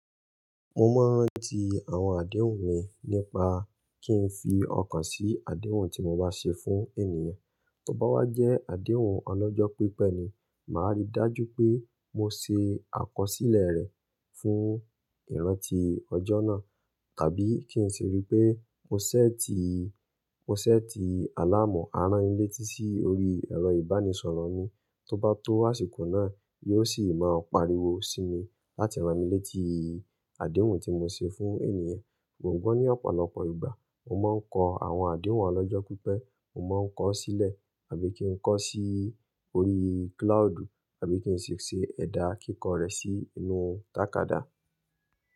Mo mọ n ranti àwọn àdéhùn mi nípa kín fi ọkàn sí àdéhùn tí mo bá ṣe fún ènìyàn. Tí ó bá wá jẹ́ àdéhùn ọlọ́jọ́ pípẹ́ ni, màá rí i dájú pé mo ṣe àkọsílẹ̀ rẹ̀ fún ìrántí ọjọ́ náà, tàbí kí n sì rí pé mo sẹ́ti, mo sẹ́ti àlàmú aránilétí sí orí ẹ̀rọ ìbánisọ̀rọ̀ mi. Tí ó bá tó àsìkò náà, yóò sì máa pariwo sí mi láti rán mi létí àdéhùn tí mo ṣe fún ènìyàn. Mo gbọ́n ní ọ̀pọ̀lọpọ̀ ìgbà, mo máa ń kọ àwọn àdéhùn ọlọ́jọ́ pípẹ́, mo máa ń kọ ọ́ sílẹ̀ àbí kí n kọ ọ́ sí orí cloud, àbí kí n sì ṣe ẹ̀dà kíkọ rẹ̀ sí inú tàkádá.